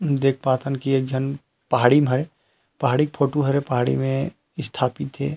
देख पात हन की एक झन पहाड़ी में हे पहाड़ी क फोटु हरे पहाड़ी में स्थापित हे ।